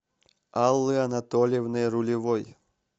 аллы анатольевны рулевой